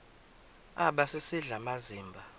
aba sisidl amazimba